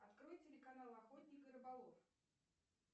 открой телеканал охотник и рыболов